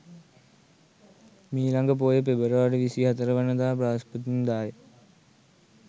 මීළඟ පෝය පෙබරවාරි 24 වන දා බ්‍රහස්පතින්දාය.